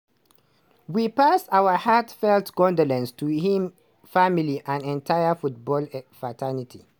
we pass our heartfelt condolences to im family and entire football fraternity.